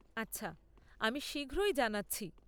আচ্ছা, আমি শীঘ্রই জানাচ্ছি।